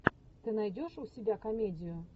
ты найдешь у себя комедию